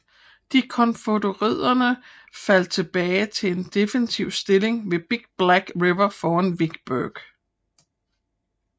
De konfødererede faldt tilbage til en defensiv stilling ved Big Black River foran Vicksburg